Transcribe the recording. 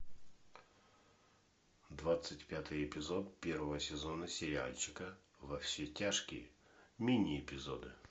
двадцать пятый эпизод первого сезона сериальчика во все тяжкие мини эпизоды